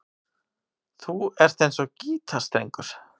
Þú ert eins og gítarstrengur.